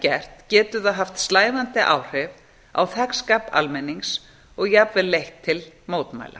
gert getur það haft slævandi áhrif á þegnskap almennings og jafnvel leitt til mótmæla